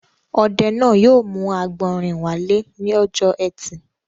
Ọdẹ náà yóò mú àgbọ̀rìn wálé lọ́jọ́ ẹtì.